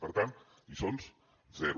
per tant lliçons zero